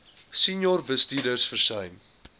senior bestuurders versuim